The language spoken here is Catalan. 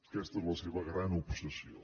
aquesta és la seva gran obsessió